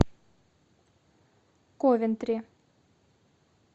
ковентри